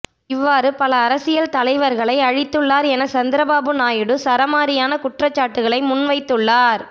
இவ்வாறு பல அரசியல் தலைவர்களை அழித்துள்ளார் என சந்திரபாபு நயுடு சரமாரியான குற்றச்சாட்டுகளை முன்வைத்துள்ளார்